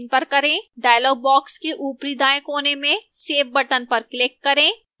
dialog box के ऊपरी दाएं कोने में save button पर click करें